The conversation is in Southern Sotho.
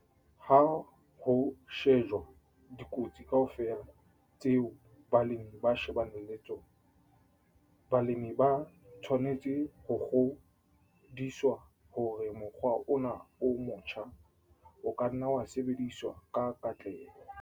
Ha ho shejwa dikotsi kaofela tseo balemi ba shebaneng le tsona, balemi ba tshwanetse ho kgodiswa hore mokgwa ona o motjha o ka nna wa sebediswa ka katleho.